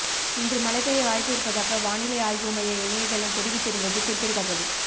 இன்று மழை பெய்ய வாய்ப்பு இருப்பதாக வானிலை ஆய்வு மைய இணையதளம் தெரிவித்திருந்தது குறிப்பிடதக்கது